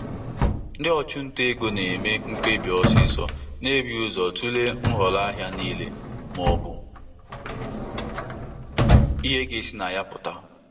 Ndị ntinye ego na-agbakarị ọsọ ọsọ eme ọsọ eme mkpebi na-emeghị nyocha ahịa nke ọma n'ihi mgbochi oge.